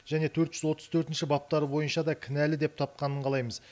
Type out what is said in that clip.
және төрт жүз отыз төртінші баптары бойынша да кінәлі деп тапқанын қалаймыз